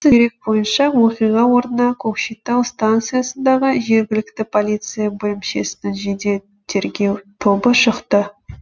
дерек бойынша оқиға орнына көкшетау станциясындағы жергілікті полиция бөлімшесінің жедел тергеу тобы шықты